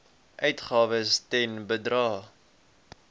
uitgawes ten bedrae